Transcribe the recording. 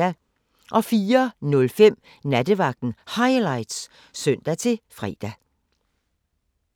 04:05: Nattevagten Highlights (søn-fre)